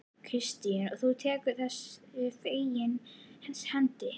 Kristín: Og þú tekur þessu fegins hendi?